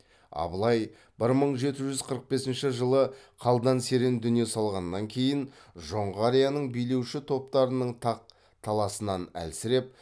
абылай бір мың жеті жүз қырық бесінші жылы қалдан серен дүние салғаннан кейін жоңғарияның билеуші топтарының тақ таласынан әлсіреп